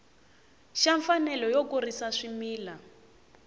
xa mfanelo yo kurisa swimila